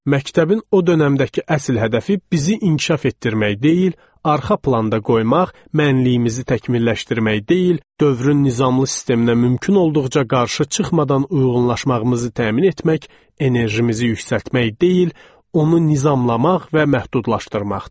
Məktəbin o dönəmdəki əsl hədəfi bizi inkişaf etdirmək deyil, arxa planda qoymaq, mənliyimizi təkmilləşdirmək deyil, dövrün nizamlı sisteminə mümkün olduqca qarşı çıxmadan uyğunlaşmağımızı təmin etmək, enerjimizi yüksəltmək deyil, onu nizamlamaq və məhdudlaşdırmaqdır.